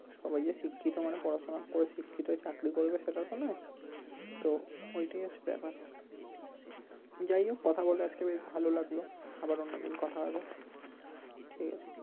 সবাই যে শিক্ষিত মানে পড়াশোনা করে শিক্ষিত হয়ে চাকরি করবে সেটাতো না তো ওই টাই হচ্ছে ব্যাপার, যাই হোক কথা বলে আজকে বেশ ভালো লাগলো, আবার অন্য দিন কথা হবে ঠিক আছে।